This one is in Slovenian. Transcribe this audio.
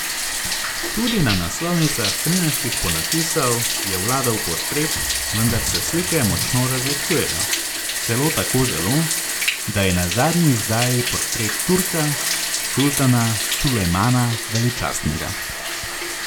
Tudi na naslovnicah trinajstih ponatisov je Vladov portret, vendar se slike močno razlikujejo, celo tako zelo, da je na zadnji izdaji portret Turka, sultana Sulejmana Veličastnega.